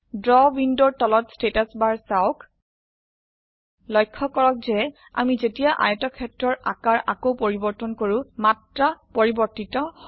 draw উইন্ডোৰ তলত status bar চাওক লক্ষ্য কৰক যে আমি যেতিয়া আয়তক্ষেত্ৰৰ আকাৰ আকৌ পৰিবৰ্তন কৰো মাত্ৰা পৰিবৰ্তিত হয়